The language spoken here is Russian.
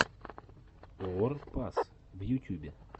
уор пас в ютюбе